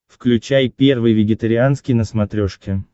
включай первый вегетарианский на смотрешке